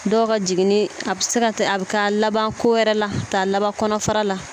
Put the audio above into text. Dɔw ka jiginni a bɛ se ka a bɛ taa laban ko wɛrɛ la taa laban kɔnɔfara la